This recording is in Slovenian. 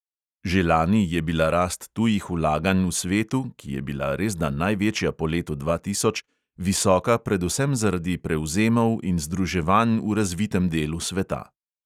Že lani je bila rast tujih vlaganj v svetu, ki je bila resda največja po letu dva tisoč, visoka predvsem zaradi prevzemov in združevanj v razvitem delu sveta.